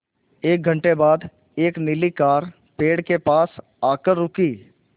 एक घण्टे बाद एक नीली कार पेड़ के पास आकर रुकी